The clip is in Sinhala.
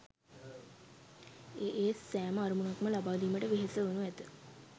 ඒ ඒ සෑම අරමුණක්ම ලබාදීමට වෙහෙස වනු ඇත